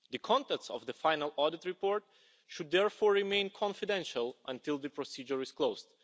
The contents of the final audit report should therefore remain confidential until the procedure is closed.